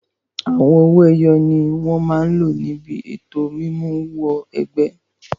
Àwọn owó ẹyọ ni wọn máa lò níbi ètò mímú wọ ẹgbẹ́.